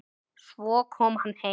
Svo kom hann heim.